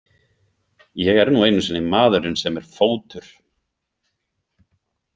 Ég er nú einu sinni maðurinn sem er Fótur.